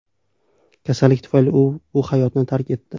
Kasallik tufayli u bu hayotni tark etdi.